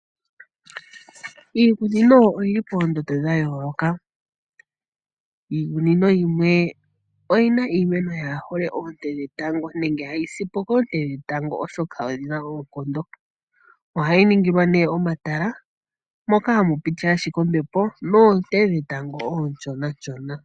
Iikunino oyi li poondondo dha yooloka. Iikunino yimwe oyi na iimeno kaayi hole oonte dhetango nenge hayi si po koonte dhetango, oshoka odhi na oonkondo. Ohayi ningilwa nduno omatala moka hamu piti ashike ombepo noonte dhetango oonshonanshona.